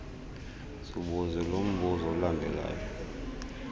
zibuze lombuzo ulandelayo